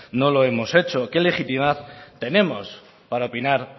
no lo hemos hecho qué legitimidad tenemos para opinar